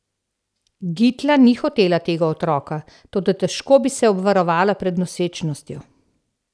Gitla ni hotela tega otroka, toda težko bi se obvarovala pred nosečnostjo.